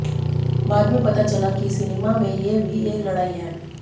बाद में पता चला कि सिनेमा में ये भी एक लड़ाई है